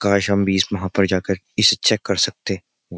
काश हम भी इस वहाँ पर जाकर इसे चेक कर सकते।